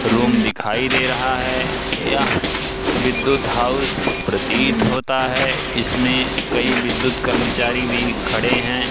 Room दिखाई दे रहा है यह विद्युत हाउस प्रतीत होता है इसमें कई विद्युत कर्मचारी भी खड़े है।